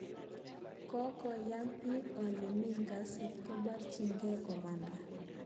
Kokakonyi biik ole mi ngasit, ko barchingei komanda